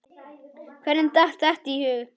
Hverjum datt þetta í hug?